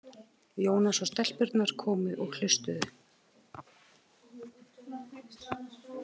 Jónas og stelpurnar komu og hlustuðu.